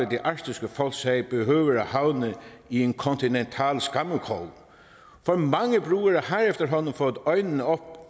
det arktiske folks sag behøver at havne i en kontinental skammekrog for mange brugere har efterhånden fået øjnene op